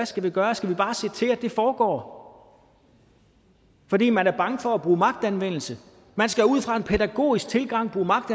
skal vi gøre skal vi bare se til at det foregår fordi man er bange for at bruge magtanvendelse man skal ud fra en pædagogisk tilgang bruge magt